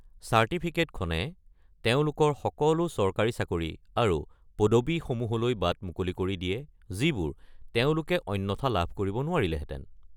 চাৰ্টিফিকেটখনে তেওঁলোকৰ সকলো চৰকাৰী চাকৰি আৰু পদবী সমূহলৈ বাট মুকলি কৰি দিয়ে যিবোৰ তেওঁলোকে অন্যথা লাভ কৰিব নোৱাৰিলেহেতেন।